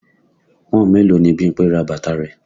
Pọ́n-ọ̀n mélòó ni Bímpé ra bàtà rẹ̀?